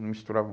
Não misturavam